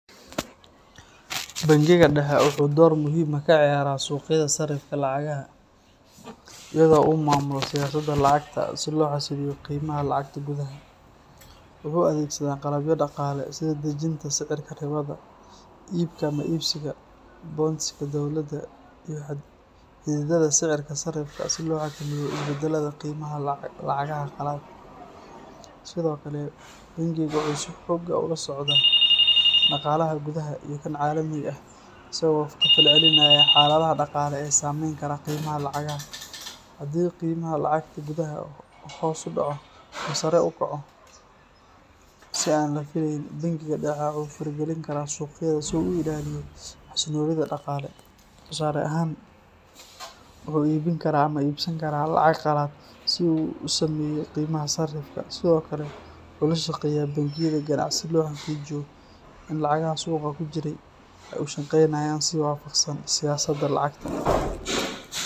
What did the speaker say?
Bangiga dhexe wuxuu door muhiim ah ka ciyaaraa suuqyada sarifka lacagaha iyadoo uu maamulo siyaasadda lacagta si loo xasiliyo qiimaha lacagta gudaha. Wuxuu adeegsadaa qalabyo dhaqaale sida dejinta sicirka ribada, iibka ama iibsiga bonds-ka dowladda, iyo xaddidaadda sicirka sarifka si loo xakameeyo isbeddellada qiimaha lacagaha qalaad. Sidoo kale, bangiga dhexe wuxuu si joogto ah ula socdaa dhaqaalaha gudaha iyo kan caalamiga ah, isagoo ka falcelinaya xaaladaha dhaqaale ee saamayn kara qiimaha lacagaha. Haddii qiimaha lacagta gudaha uu hoos u dhaco ama sare u kaco si aan la filayn, bangiga dhexe wuxuu faragelin karaa suuqyada si uu u ilaaliyo xasilloonida dhaqaale. Tusaale ahaan, wuxuu iibin karaa ama iibsan karaa lacag qalaad si uu u saameeyo qiimaha sarifka. Sidoo kale, wuxuu la shaqeeyaa bangiyada ganacsiga si loo xaqiijiyo in lacagaha suuqa ku jira ay u shaqaynayaan si waafaqsan siyaasadda lacagta.